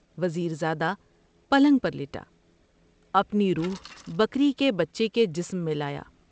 وز یر زادہ پلنگ پر لیٹا ، اپنی روح بکری کے بچے کے جسم میں لایا ۔